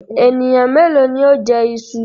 Ènìyàn méèló ni ó jẹ iṣu?